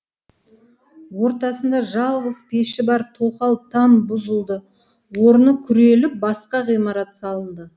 ортасында жалғыз пеші бар тоқал там бұзылды орыны күреліп басқа ғимарат салынды